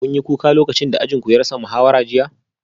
Kun yi kuka lokacin da ajin ku ya rasa muhawara jiya?